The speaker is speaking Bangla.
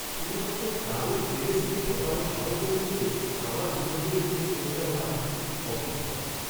শুধুমাত্র কারুর এনএসইকে ঠকানোর সাহস হয়েছে বলেই আমার বিনিয়োগের মূল্য কমে যাওয়াটা আমার কাছে খুব অসহ্যকর।